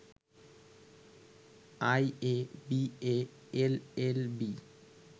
IA, BA, LLB